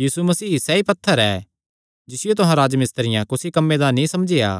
यीशु मसीह सैई पत्थर ऐ जिसियो तुहां राजमिस्त्रियां कुसी कम्मे दा नीं समझेया